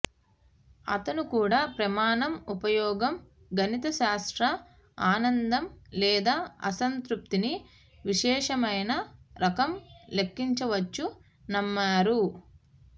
అతను కూడా ప్రమాణం ఉపయోగం గణితశాస్త్ర ఆనందం లేదా అసంతృప్తిని విశేషమైన రకం లెక్కించవచ్చు నమ్మారు